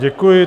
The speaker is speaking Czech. Děkuji.